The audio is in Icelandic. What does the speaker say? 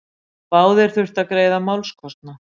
Báðir þurftu að greiða málskostnað.